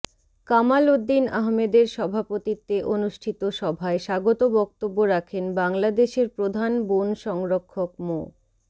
কামাল উদ্দিন আহমেদের সভাপতিত্বে অনুষ্ঠিত সভায় স্বাগত বক্তব্য রাখেন বাংলাদেশের প্রধান বন সংরক্ষক মো